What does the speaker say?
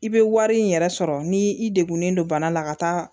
I bɛ wari in yɛrɛ sɔrɔ ni i degunen don bana la ka taa